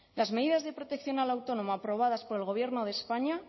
las medidas de protección al autónomo aprobadas por el gobierno de españa